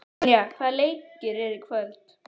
Tanya, hvaða leikir eru í kvöld?